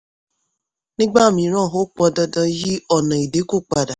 nígbà mìíràn ó pọn dandan yí ọ̀nà ìdínkù padà.